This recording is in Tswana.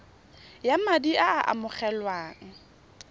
ya madi a a amogelwang